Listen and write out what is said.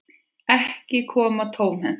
Ekki koma tómhent